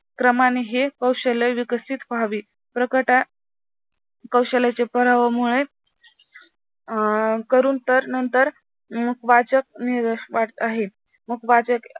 क्रमाने हे कौशल्य विकसित व्हावे. प्रकट कौशल्याच्या प्रभावामुळे करून तर नंतर मुख वाचक आहे. मुखवाचक